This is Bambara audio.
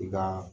I ka